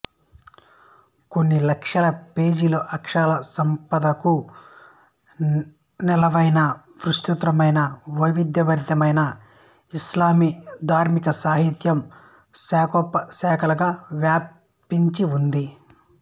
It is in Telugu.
కొన్ని లక్షల పేజీల అక్షర సంపదకు నెలవైన విస్తృతరమైన వైవిధ్యభరితమైన ఇస్లామీయ ధార్మిక సాహిత్యం శాఖోపశాఖలుగా వ్యాపించి ఉంది